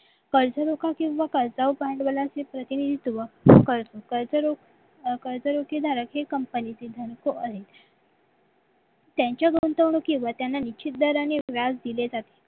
कर्जमुभा किंवा कर्जावर भांडवलांचे प्रतिनिधी सुरुवात करते कर्ज कर्जरोखे झाल्याचे company त्यांच्या गुंतवणुकीवर त्यांना निश्चित दराने व्याज दिले जाते